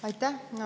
Aitäh!